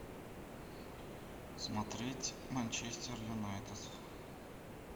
смотреть манчестер юнайтед